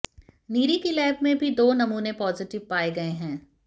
नीरी की लैब में भी दो नमूने पॉजिटिव पाए गए हैं